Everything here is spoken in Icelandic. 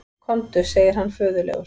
Komdu, segir hann föðurlegur.